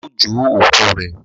ao jo òkú rẹ.